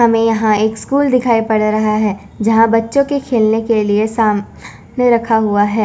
और हमें यहां एक स्कूल दिखाई पड़ रहा है यहां बच्चों के खेलने के लिए सामान रखा हुआ है।